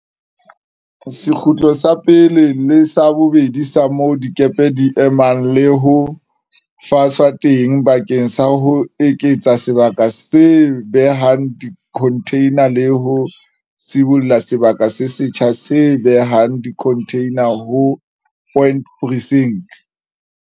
Sekgutlo sa pele le sa bobedi sa moo dikepe di emang le ho faswa teng bakeng sa ho eketsa sebaka se behang dikhontheina le ho sibolla sebaka se setjha se behang dikhontheina ho Point Precinct.